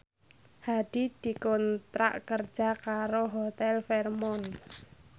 Hadi dikontrak kerja karo Hotel Fairmont